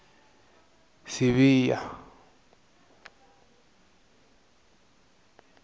sibiya